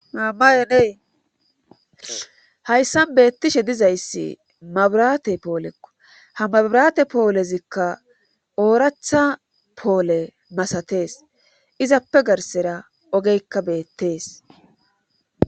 mammayenee hayssan beettishe dizayssi mabiraate poolekko. ha mabrate poolezikka ooratha poole masatees. izappe garsera ogeykka beettees